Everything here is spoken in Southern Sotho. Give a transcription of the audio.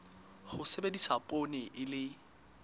ho sebedisa poone e le